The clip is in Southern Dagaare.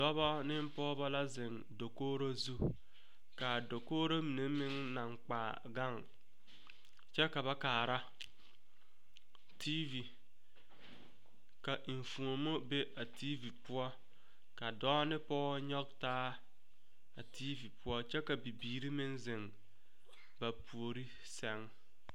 Dɔba ne pɔgeba la ziŋ dakogro zu kaa dakogro mine meŋ naŋ kpaa gaŋ kyɛ ka ba kaara tiivi ka enfuomo be a tiivi poɔ ka dɔɔ ne pɔge nyɔge taa a tiivi poɔ kyɛ ka bibiiri meŋ ziŋ ba puori sɛŋ.